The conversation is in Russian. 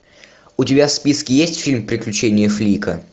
у тебя в списке есть фильм приключения флика